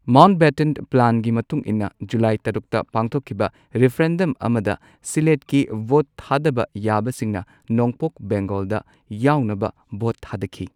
Mountbatten ꯄ꯭ꯂꯥꯟꯒꯤ ꯃꯇꯨꯡ ꯏꯟꯅ ꯖꯨꯂꯥꯏ ꯇꯔꯨꯛꯇ ꯄꯥꯡꯊꯣꯛꯈꯤꯕ ꯔꯤꯐꯔꯦꯟꯗꯝ ꯑꯃꯗ ꯁꯤꯂꯦꯠꯀꯤ ꯚꯣꯠ ꯊꯥꯗꯕ ꯌꯥꯕꯁꯤꯡꯅ ꯅꯣꯡꯄꯣꯛ ꯕꯦꯡꯒꯣꯜꯗ ꯌꯥꯎꯅꯕ ꯚꯣꯠ ꯊꯥꯗꯈꯤ꯫